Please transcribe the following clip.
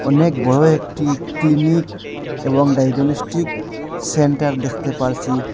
অনেক বড় একটি ক্লিনিক এবং ডায়াগনস্টিক সেন্টার দেখতে পারছি।